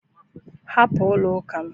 Hapụ n'ụlọ ụka m